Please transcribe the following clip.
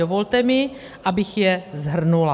Dovolte mi, abych je shrnula.